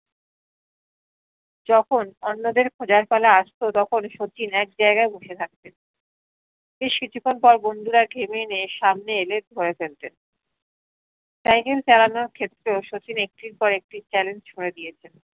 যখন অন্যদের খোজার পালা আসতো তখন শচীন এক জায়গায় বসে থাকতেন বেশ কিছুখন পর বন্ধুরা ঘেমে নে সামনে এলেন ধরে ফেলতেন সাইকেল চালানো ক্ষেত্রেও শচীনে একটি কয়েকটি challenge ছুঁড়ে দিয়েছেন